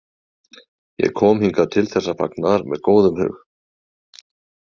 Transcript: Ég kom hingað til þessa fagnaðar með góðum hug.